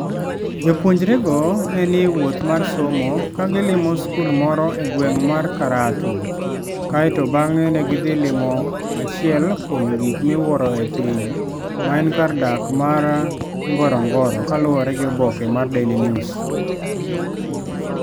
Jopuonjrego ne ni e wuoth mar somo, ka gilimo skul moro e gweng ' mar Karatu, kae to bang'e ne gidhi limo achiel kuom gik miwuoro e piny, ma en kar dak mar Ngorongoro, kaluwore gi oboke mar Daily News.